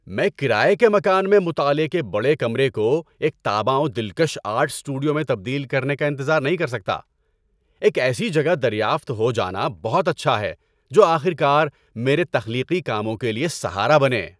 میں کرایے کے مکان میں مطالعے کے بڑے کمرے کو ایک تاباں و دلکش آرٹ اسٹوڈیو میں تبدیل کرنے کا انتظار نہیں کر سکتا۔ ایک ایسی جگہ دریافت ہو جانا بہت اچھا ہے جو آخر کار میرے تخلیقی کاموں کے لیے سہارا بنے۔